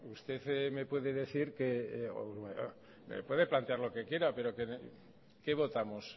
usted me puede decir que me puede plantear lo que quiera pero qué votamos